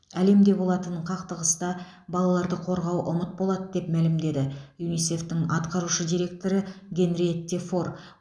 әлемде болатын қақтығыста балаларды қорғау ұмыт болады деп мәлімдеді юнисеф тың атқарушы директоры генриетте фор